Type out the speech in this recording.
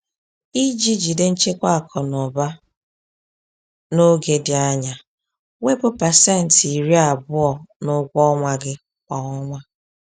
Iji jide nchekwa akụ na ụba n’oge dị anya, wepụ pasenti iri abụọ (20%) n’ụgwọ ọnwa gị kwa ọnwa.